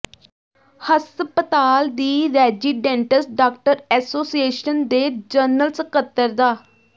ਹਸਪਤਾਲ ਦੀ residents doctor association ਦੇ ਜਨਰਲ ਸਕੱਤਰ ਡਾ